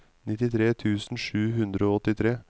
nittitre tusen sju hundre og åttitre